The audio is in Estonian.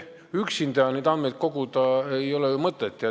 Üksinda ei ole ju mõtet neid andmeid koguda.